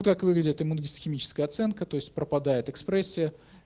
как выглядят иммуногистохимическая оценка то есть пропадает экспрессия